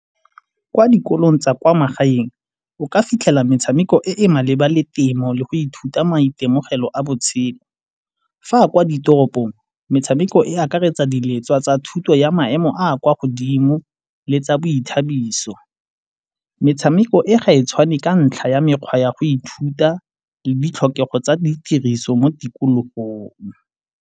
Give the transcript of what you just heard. Kwa dikolong tsa kwa magaeng o ka fitlhela metshameko e e maleba le temo le go ithuta maitemogelo a botshelo. Fa a kwa ditoropong, metshameko e akaretsa di letswa tsa thuto ya maemo a a kwa godimo le tsa boithabiso. Metshameko e ga e tshwane ka ntlha ya mekgwa ya go ithuta le ditlhokego tsa di tiriso mo tikologong.